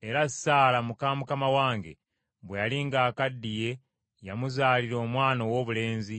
Era Saala muka mukama wange bwe yali ng’akaddiye yamuzaalira omwana owoobulenzi,